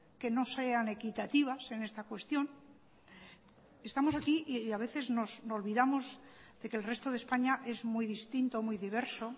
que no sean equitativas en esta cuestión estamos aquí y a veces nos olvidamos de que el resto de españa es muy distinto o muy diverso